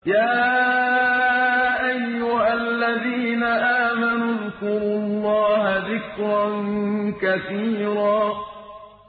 يَا أَيُّهَا الَّذِينَ آمَنُوا اذْكُرُوا اللَّهَ ذِكْرًا كَثِيرًا يَا أَيُّهَا الَّذِينَ آمَنُوا اذْكُرُوا اللَّهَ ذِكْرًا كَثِيرًا